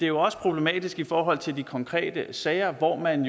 jo også problematisk i forhold til de konkrete sager hvor man